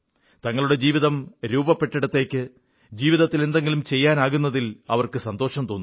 തങ്ങളുടെ ജീവിതം രൂപപ്പെട്ടിടത്തേക്ക് ജീവിതത്തിൽ എന്തെങ്കിലും ചെയ്യാനാകുന്നതിൽ അവർക്ക് സന്തോഷം തോന്നുന്നു